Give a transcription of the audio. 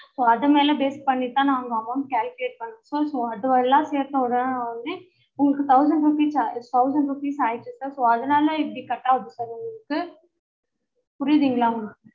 so அதுமேல base பண்ணி தான் நாங்க amount calculate பண்றோம் so அது எல்லாம் சேத்த ஒடனே வந்து உங்களுக்கு thousand rupees thousand rupees ஆய்டுது sir so அதுனால இப்டி cut ஆவுது sir உங்களுக்கு புரியுதுங்களா